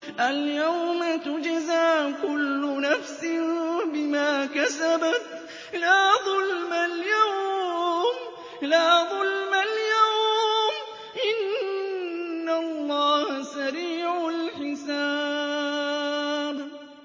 الْيَوْمَ تُجْزَىٰ كُلُّ نَفْسٍ بِمَا كَسَبَتْ ۚ لَا ظُلْمَ الْيَوْمَ ۚ إِنَّ اللَّهَ سَرِيعُ الْحِسَابِ